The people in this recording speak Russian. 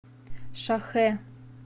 шахэ